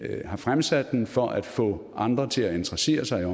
har fremsat den for at få andre til at interessere sig